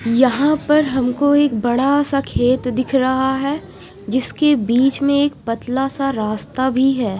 यहां पर हमको एक बड़ा सा खेत दिख रहा है जिसके बीच में एक पतला सा रास्ता भी है।